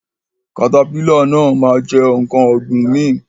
katapila náà ma jẹ nkán ọ̀gbìn mi.